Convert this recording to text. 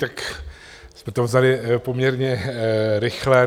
Tak jste to vzali poměrně rychle.